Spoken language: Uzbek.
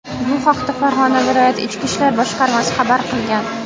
Bu haqda Farg‘ona viloyati ichki ishlar boshqarmasi xabar qilgan .